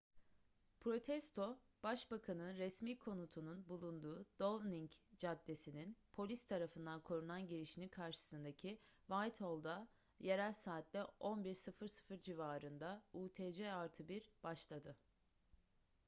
protesto başbakan'ın resmi konutunun bulunduğu downing caddesi'nin polis tarafından korunan girişinin karşısındaki whitehall'da yerel saatle 11:00 civarında utc+1 başladı